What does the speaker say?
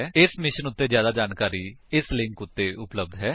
ਇਸ ਮਿਸ਼ਨ ਉੱਤੇ ਜਿਆਦਾ ਜਾਣਕਾਰੀ ਇਸ ਲਿੰਕ ਉੱਤੇ ਉਪਲੱਬਧ ਹੈ